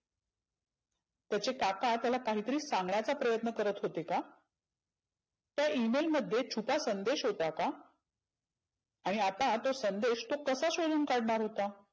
त्याचे काका त्याला काहितरी सांगण्याचा प्रयत्न करत होते का? त्या Email मध्ये काही छुपा संदेश होता का? आणि आता तो संदेश तो कसा शोधुन काढणार होता?